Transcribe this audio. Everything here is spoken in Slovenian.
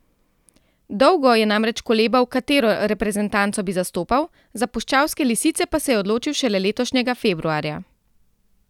Dolgo je namreč kolebal, katero reprezentanco bi zastopal, za puščavske lisice pa se je odločil šele letošnjega februarja.